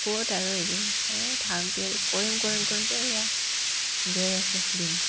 ক'ত আৰু এইবাৰ এই থাক দে কৰিম কৰিম কৰিমকে এয়া গৈ আছে দিন